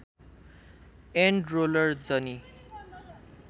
and roller जनी